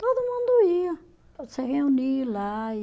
Todo mundo ia, se reunia lá e